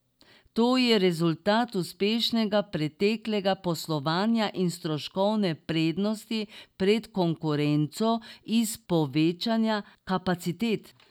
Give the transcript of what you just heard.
To je rezultat uspešnega preteklega poslovanja in stroškovne prednosti pred konkurenco iz povečevanja kapacitet.